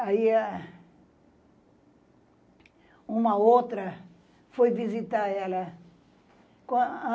Aí, a uma outra foi visitar ela.